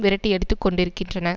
விரட்டியடித்துக் கொண்டிருக்கின்றன